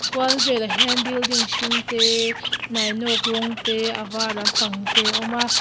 kual velah hian building hring te nainawk rawng te avar lampang te a awm a.